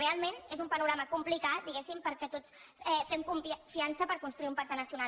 realment és un panorama complicat diguéssim perquè tots fem confiança per construir un pacte nacional